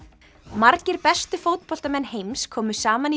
margir bestu fótboltamenn heims komu saman í